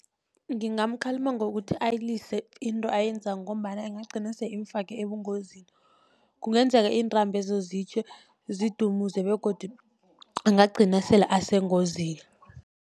Ngingamkhalima ngokuthi ayilise into ayenzako, ngombana ingagcina sele imfake ebungozini. Kungenzeka iintambezo zitjhe zidumuze, begodi angagcina sele asengozini.